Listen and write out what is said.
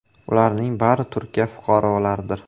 Ularning bari Turkiya fuqarolaridir.